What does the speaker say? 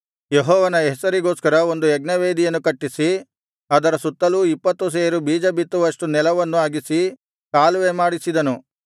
ಯೆಹೋವನ ಹೆಸರಿಗೋಸ್ಕರ ಒಂದು ಯಜ್ಞವೇದಿಯನ್ನು ಕಟ್ಟಿಸಿ ಅದರ ಸುತ್ತಲೂ ಇಪ್ಪತ್ತು ಸೇರು ಬೀಜಬಿತ್ತುವಷ್ಟು ನೆಲವನ್ನು ಅಗೆಸಿ ಕಾಲುವೆ ಮಾಡಿಸಿದನು